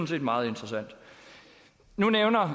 set meget interessant nu nævner